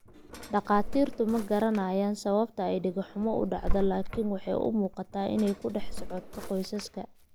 Dhakhaatiirtu ma garanayaan sababta dhago xumo u dhacdo, laakiin waxay u muuqataa inay ku dhex socoto qoysaska.